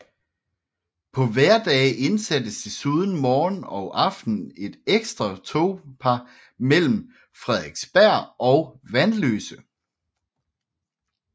På hverdage indsattes desuden morgen og aften et ekstra togpar mellem Frederiksberg og Vanløse